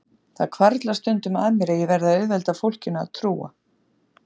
Það hvarflar stundum að mér að ég verði að auðvelda fólkinu að trúa